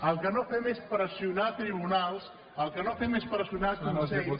el que no fem és pressionar tribunals el que no fem és pressionar consells